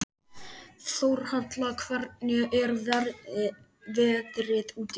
Þórhalla, hvernig er veðrið úti?